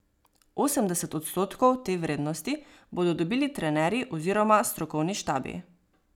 Osemdeset odstotkov te vrednosti bodo dobili trenerji oziroma strokovni štabi.